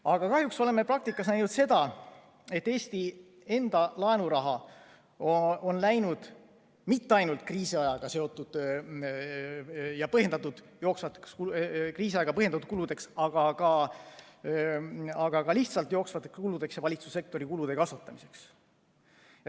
Aga kahjuks oleme praktikas näinud seda, et Eesti enda laenuraha on läinud mitte ainult kriisiajaga seotud ja põhjendatud jooksvate kulude, vaid ka lihtsalt jooksvate kulude katteks ja valitsussektori kulude kasvatamiseks.